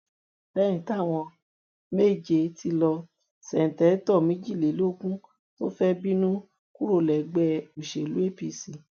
lẹyìn táwọn méje ti lọ ṣèǹtẹtò méjìdínlógún tún fẹẹ bínú kúrò lẹgbẹ òṣèlú apc